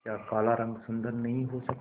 क्या काला रंग सुंदर नहीं हो सकता